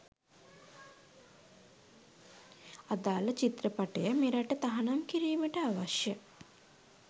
අදාල චිත්‍රපටය මෙරට තහනම් කිරිමට අවශ්‍ය